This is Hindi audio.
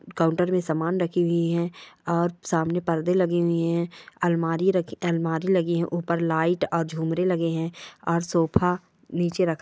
काउंटर में समान रखी हुई है और सामने पर्दे लगे हुए है अलमारी रखी अलमारी लगी है ऊपर लाइट और झुमरे लगे है और सोफा नीचे रखा --